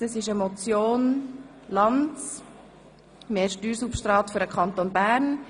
Es geht um die Motion Lanz «Mehr Steuersubstrat für den Kanton Bern».